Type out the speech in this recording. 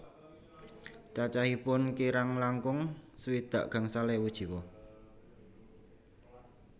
Cacahipun kirang langkung swidak gangsal ewu jiwa